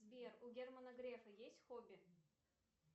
сбер у германа грефа есть хобби